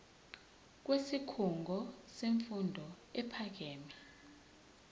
kwisikhungo semfundo ephakeme